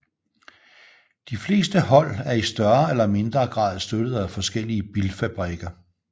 De fleste hold er i større eller mindre grad støttet af forskellige bilfabrikker